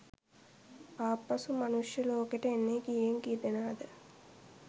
ආපසු මනුෂ්‍යය ලෝකෙට එන්නෙ කීයෙන් කීදෙනාද?